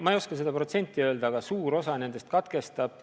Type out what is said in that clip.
Ma ei oska seda protsenti öelda, aga suur osa nendest katkestab.